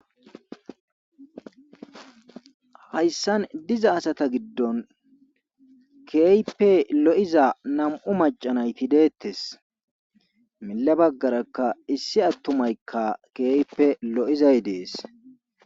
Hayssan diza asata giddon keeype lo'iza nam'u macanay pidettes mila baggarakka issi attumaykka keeype lo'izay dees.